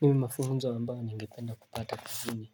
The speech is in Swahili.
Mimi mafunzo ambayo ningependa kupata kazini